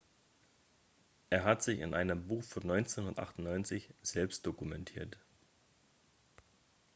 er hat sich in einem buch von 1998 selbst dokumentiert